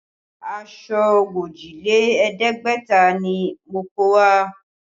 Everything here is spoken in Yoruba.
Aṣọ ogójì lé ẹ̀ẹ́dẹ́gbẹ̀ta ni mo kó wá